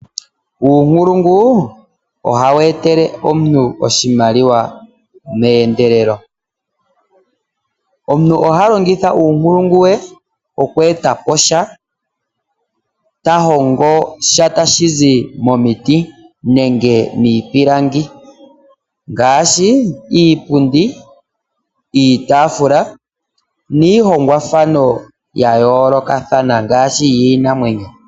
Uunkulungu ohawu etele omuntu oshimaliwa meendelelo. Omuntu oha longitha uunkulungu we oku etapo sha . Tahongo sha tashizi momiti nenge miipilangi ngaashi iipundi ,iitafula niihongwa thano ya yoolokathana ngaashi yiinamwenyo .